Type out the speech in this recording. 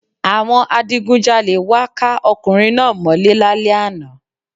Àwọn adigunjalè wá ká ọkùnrin náá mọ́ lé lálẹ́ àná